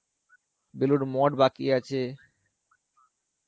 বেলুর মঠ বাকি আছে.